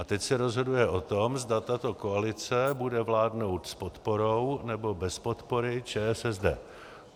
A teď se rozhoduje o tom, zda tato koalice bude vládnout s podporou, nebo bez podpory ČSSD.